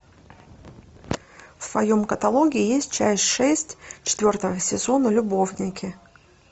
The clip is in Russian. в твоем каталоге есть часть шесть четвертого сезона любовники